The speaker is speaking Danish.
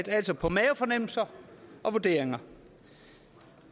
altså på mavefornemmelser og vurderinger